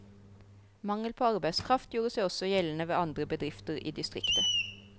Mangel på arbeidskraft gjorde seg også gjeldende ved andre bedrifter i distriktet.